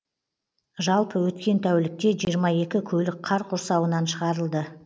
жалпы өткен тәулікте жиырма екі көлік қар құрсауынан шығарылды